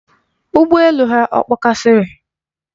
Ụgbọ elu ha ọ kpọkasịrị?